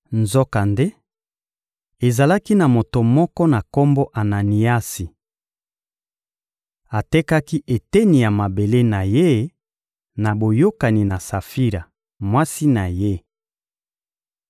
Nzokande, ezalaki na moto moko na kombo Ananiasi. Atekaki eteni ya mabele na ye na boyokani na Safira, mwasi na ye.